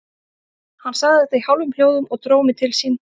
Hann sagði þetta í hálfum hljóðum og dró mig til sín.